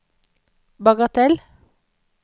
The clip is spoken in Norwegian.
bagatell